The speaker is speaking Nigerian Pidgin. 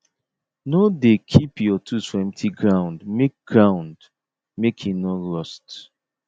no dey keep your tools for empty ground make ground make e no rust